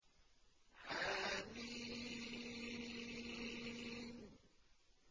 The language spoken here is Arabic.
حم